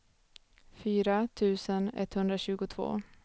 fyra tusen etthundratjugotvå